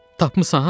Tapmısan?